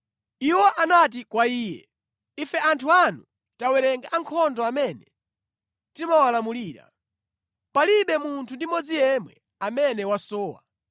iwo anati kwa iye, “Ife anthu anu tawerenga ankhondo amene timawalamulira. Palibe munthu ndi mmodzi yemwe amene wasowa.